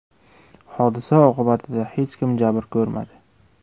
Hodisa oqibatida hech kim jabr ko‘rmadi.